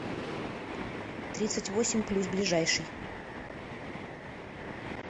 тридцать восемь плюс ближайший